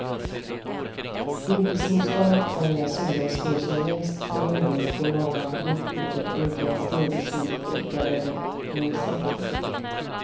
Vintersolståndet är när solen står som lägst på himlen på norra jordklotet och inte en stråle sol orkar över horisonten.